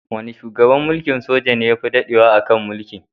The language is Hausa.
Wane shugaban mulkin soja ne yafi daɗewa a kan mulki?